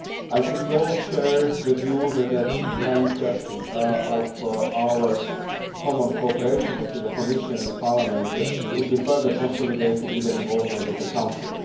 I think we all share the view that the achievement of common cooperation with the Commission and Parliament would be further consolidated with the involvement of the Council.